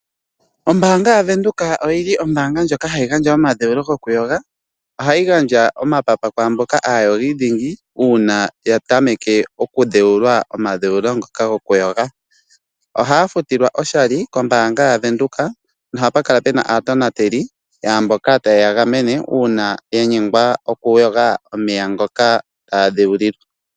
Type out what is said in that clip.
Ombaanga yavenduka oyili ombaanga ndjoka hayi gandja omadhewulo gokuyoga . Ohayi gandja omapapa kwaamboka aayogi dhingi uuna ya tameke okudheulwa omadheulo ngoka gokuyoga. Ohaya futilwa oshali kombaanga yavenduka nohapa kala puna aatonateli yaamboka taye ya gamene uuna yanyengwa okuyoga omeya ngoka taya dhewulilwa.